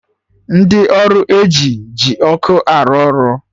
Ndị ọrụ eji ji ọkụ arụ ọrụ